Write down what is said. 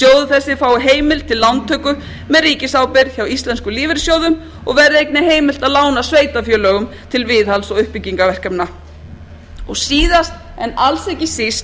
þessi fái heimild til lántöku með ríkisábyrgð hjá íslenskum lífeyrissjóðum og verði einnig heimilt að lána sveitarfélögum til viðhalds og uppbyggingarverkefna síðast en alls ekki síst